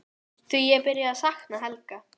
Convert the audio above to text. Því ég er byrjuð að sakna Helga.